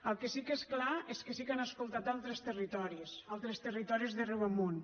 el que sí que és clar és que sí que han escoltat altres territoris altres territoris de riu amunt